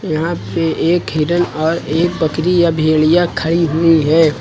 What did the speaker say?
यहां पे एक हिरन और एक बकरी या भेड़िया खड़ी हुई है।